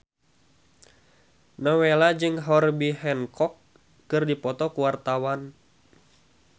Nowela jeung Herbie Hancock keur dipoto ku wartawan